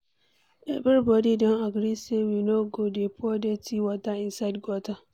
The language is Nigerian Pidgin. Everybody don agree say we no go dey pour dirty water inside gutter